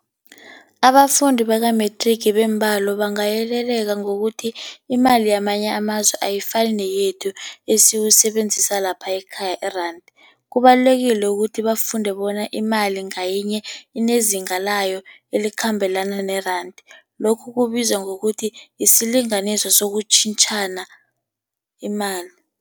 Abafundi baka-matric beembalo bangayeleleka ngokuthi imali yamanye amazwe ayifani neyethu esiyisebenzisa lapha ekhaya, iranda. Kubalulekile ukuthi bafunde bona imali ngayinye unezinga layo elikhambelana neranda. Lokhu kubizwa ngokuthi yisilinganiso sokutjhentjhana imali.